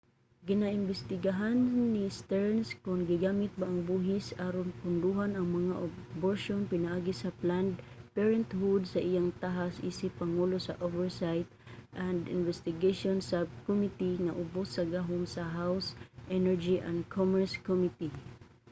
ginaimbestigahan ni stearns kon gigamit ba ang buhis aron pondohan ang mga aborsyon pinaagi sa planned parenthood sa iyang tahas isip pangulo sa oversight and investigations subcommittee nga ubos sa gahom sa house energy and commerce committee